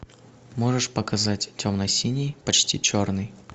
можешь показать темно синий почти черный